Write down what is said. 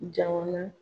Jamana